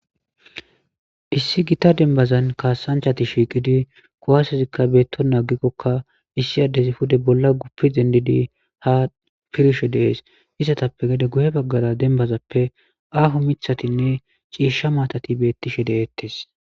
issi gita denbazan kaasanchati shiiqidi kuwaasezikka beetto naagikkokka issi addezi hude bolla guppi dendidi ha pirshe dees isatappe gede guhe baggara dembazappe aafo mithatinne ciisha maatati bettishe deeettes